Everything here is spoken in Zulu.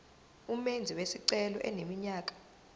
umenzi wesicelo eneminyaka